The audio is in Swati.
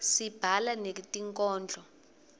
sibhala netikhondlo